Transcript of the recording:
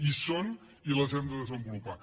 hi són i les hem de desenvolupar